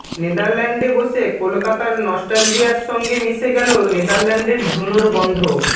নেদারল্যান্ডে বসে কলকাতার নস্টালজিয়ার সঙ্গে মিশে গেল নেদারল্যান্ডের ধুনোর গন্ধ